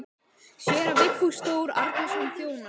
Séra Vigfús Þór Árnason þjónar.